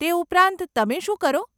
તે ઉપરાંત તમે શું કરો?